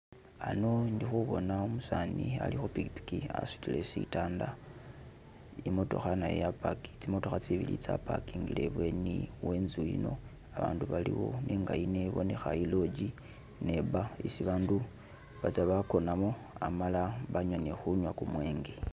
hano indi khubona umusani ali khupiki pikipiki asudile sitanda imotokha nayo, tsi mootokha tsibili tsa parkingile ibweni wenzu yino abandu baliwo nenga yino ibonekha e lodge ne e bar isi bandu batsa bagonamo amala banywa ni khunywa gu mwenge.